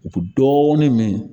U dɔɔnin min